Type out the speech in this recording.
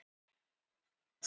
Áfram með þig, Hjálmar!